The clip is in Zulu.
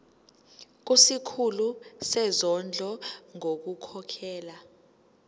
kusikhulu sezondlo ngokukhokhela